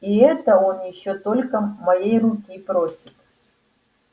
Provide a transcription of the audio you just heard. и это он ещё только моей руки просит